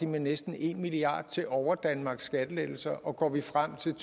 med næsten en milliard kroner til overdanmarks skattelettelser og går vi frem til